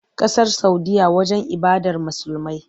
Ƙasar Saudiyya wajen ibadar Musulmai.